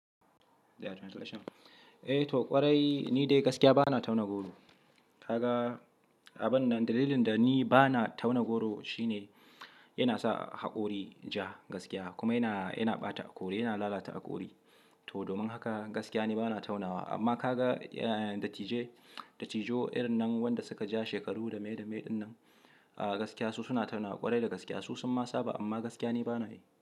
Eh to ƙwarai, ni dai gaskiya ba na tauna goro. Kaga, abun nan dalilin da ni ba na tauna goro shine yana sa haƙori ja gaskiya, kuma yana, yana ɓata haƙori, yana lalata haƙori. To domin haka gaskiya ni ba na taunawa. Amma ka ga, eh, dattijai, dattijo irin nan wanda suka ja shekaru da mai da mai dinnan, ah gaskiya su suna tauna ƙwarai da gaskiya su sun ma saba amma gaskiya ni ba na yi.